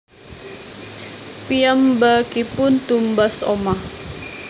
Piyambakipun tumbas omah